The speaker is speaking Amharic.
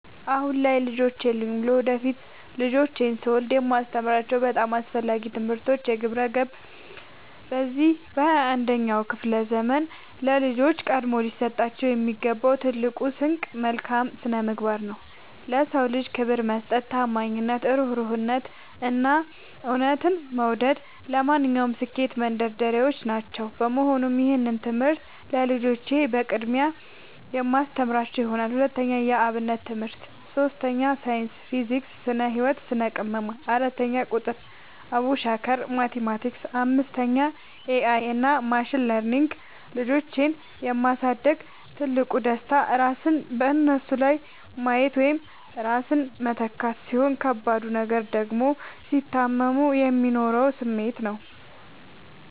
አሁን ልጆች የሉኝም። ለወደፊት ልጆችን ስወልድ የማስተምራቸው በጣም አስፈላጊ ትምህርቶች፦ 1. ግብረ-ገብ፦ በዚህ በ 21ኛው ክፍለ ዘመን ለልጆች ቀድሞ ሊሰጣቸው የሚገባው ትልቁ ስንቅ መልካም ስነምግባር ነው። ለ ሰው ልጅ ክብር መስጠት፣ ታማኝነት፣ እሩህሩህነት፣ እና እውነትን መውደድ ለማንኛውም ስኬት መንደርደሪያዎች ናቸው። በመሆኑም ይህንን ትምህርት ለልጆቼ በቅድሚያ የማስተምራቸው ይሆናል። 2. የ አብነት ትምህርት 3. ሳይንስ (ፊዚክስ፣ ስነ - ህወት፣ ስነ - ቅመማ) 4. ቁጥር ( አቡሻኽር፣ ማቲማቲክስ ...) 5. ኤ አይ እና ማሽን ለርኒንግ ልጆችን የ ማሳደግ ትልቁ ደስታ ራስን በነሱ ላይ ማየት ወይም ራስን መተካት፣ ሲሆን ከባዱ ነገር ደግሞ ሲታመሙ የሚኖረው ስሜት ነው።